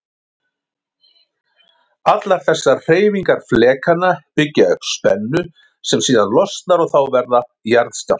Allar þessar hreyfingar flekanna byggja upp spennu sem síðan losnar og þá verða jarðskjálftar.